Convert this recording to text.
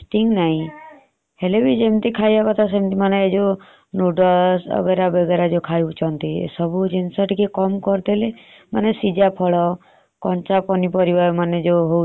ଆମେ ମାନେ କଣ କହିଲେ ଭାବଉଛେ ସେ ଜିନିଷ ଖାଇଲେ ଆମକୁ ସୁଆଦ ଲାଗୁଛି ଆମେ ଖାଇଡଉଛେ। ଦେଖିଲାରୁ ଆମ ପେଟ ଭିତରକୁ ଗଲେ ଜୌତ ଆମ ଭିତରକୁ ଗଲେ କେତେ ଖରାପ ଆମେ ଜାଣିପାରୁନେ ।